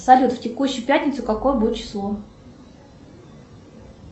салют в текущую пятницу какое будет число